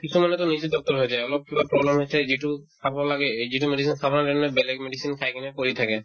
কিছুমানেতো নিজে doctor হৈ যায় অলপ কিবা problem হৈছে যিতো খাব লাগে এদিনো medicine খাবৰ কাৰণে বেলেগ medicine খাই কিনে পৰি থাকে